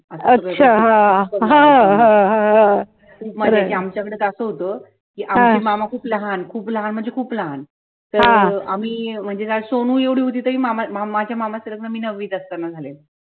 आमच्याकडे कसं होतं कि आमचे मामा खूप लहान, खूप लहान म्हणजे खूप लहान